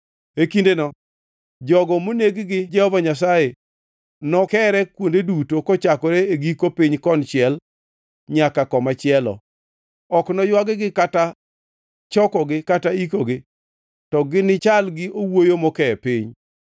E kindeno jogo moneg gi Jehova Nyasaye nokere kuonde duto kochakore e giko piny konchiel nyaka komachielo. Ok noywag-gi kata chokogi kata ikogi, to ginichal gi owuoyo mokee piny.